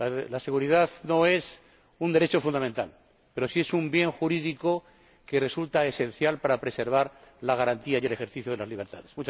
La seguridad no es un derecho fundamental, pero sí es un bien jurídico que resulta esencial para preservar la garantía y el ejercicio de las libertades.